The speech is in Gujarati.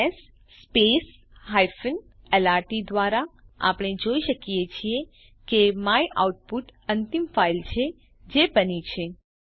એલએસ lrt દ્વારા આપણે જોઈ શકીએ છીએ કે માયઆઉટપુટ અંતિમ ફાઈલ છે જે બની છે